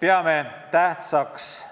Peame tähtsaks